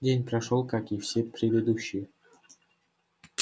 день прошёл как и все предыдущие